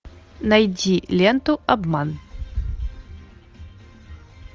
найди ленту обман